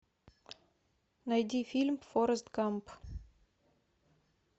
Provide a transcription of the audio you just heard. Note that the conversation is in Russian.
найди фильм форрест гамп